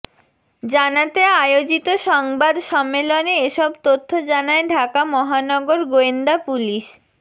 জানাতে আয়োজিত সংবাদ সম্মেলনে এসব তথ্য জানায় ঢাকা মহানগর গোয়েন্দা পুলিশ